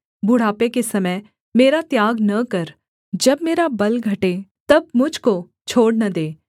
बुढ़ापे के समय मेरा त्याग न कर जब मेरा बल घटे तब मुझ को छोड़ न दे